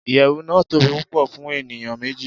iyewu nàá tobi pupo fun eniyan meji